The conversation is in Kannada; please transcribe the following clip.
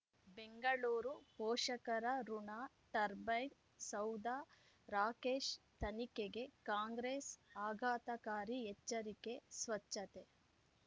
ಬೆಂಗಳೂರು ಪೋಷಕರಋಣ ಟರ್ಬೈನ್ ಸೌಧ ರಾಕೇಶ್ ತನಿಖೆಗೆ ಕಾಂಗ್ರೆಸ್ ಆಘಾತಕಾರಿ ಎಚ್ಚರಿಕೆ ಸ್ವಚ್ಛತೆ